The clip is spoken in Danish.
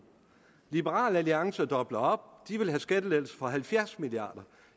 liberal alliance dobler op de vil have skattelettelser for halvfjerds milliard